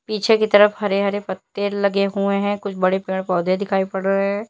पीछे कि तरफ हरे हरे पत्ते लगे हुए हैं कुछ बड़े पेड़ पौधे दिखाई पड़ रहे हैं।